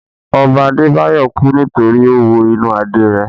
Ọba Adé Báyọ̀ kú nítorí ó wo inú Adé rẹ̀